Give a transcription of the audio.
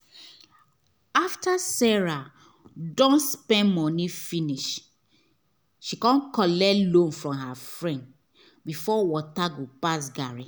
after sarah don spend money finish she collect loan from her friend before water go pass garri